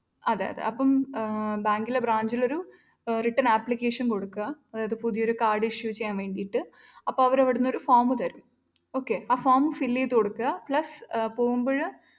അതയതെ അപ്പൊ ബാങ്കിലെ branch ലൊരു written ആയ application കൊടുക്കുക അതായത് പുതിയൊരു കാർഡ് issue ചെയ്യാൻ വേണ്ടീട്ട് അപ്പൊ അവരവിടുന്നൊരു form തരും. okay ആ form fill ചെയ്ത് കൊടുക്കുക plus പോകുമ്പഴ്